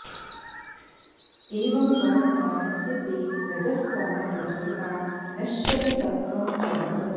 एवं वर्तमानस्य ते रजस्तमः प्रचुरता नश्यति सत्त्वं च वर्धते